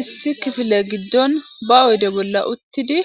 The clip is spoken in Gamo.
Issi kifile giddon ba oyde bolla uttidi